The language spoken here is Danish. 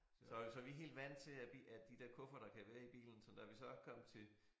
Så så vi helt vant til at de at de der kufferter kan være i bilen sådan da vi så kom til